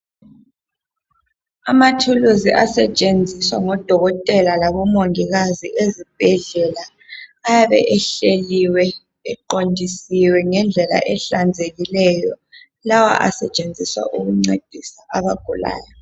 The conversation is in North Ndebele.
Amathulisi asetshenziswa ngodokotela labomongikazi ezibhedlela. Ayabe ehleliwe eqondisiwe ngedlela ehlanzekileyo. Lawa asetshenziswa ukuncedisa abagulayo.